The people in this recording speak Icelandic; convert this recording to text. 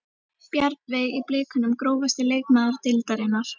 Bjarnveig í blikunum Grófasti leikmaður deildarinnar?